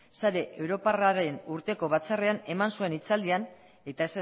sare europarraren urteko batzarrean eman zuen hitzaldian eta